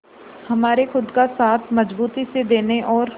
हमारे खुद का साथ मजबूती से देने और